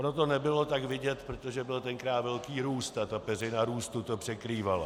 Ono to nebylo tak vidět, protože byl tenkrát velký růst a ta peřina růstu to překrývala.